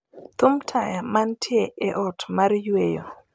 thum taya mantie e ot mar yweyo